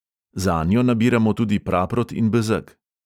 Zanjo nabiramo tudi praprot in bezeg.